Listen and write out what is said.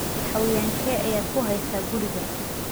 Xayawaankee ayaad ku haysaa guriga?